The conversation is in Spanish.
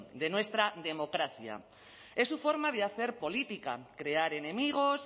de nuestra democracia es su forma de hacer política crear enemigos